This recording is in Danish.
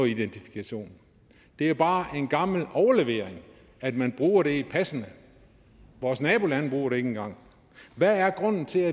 identifikation det er bare en gammel overlevering at man bruger det i passet vores nabolande bruger det ikke engang hvad er grunden til